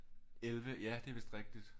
11 ja det er vidst rigtigt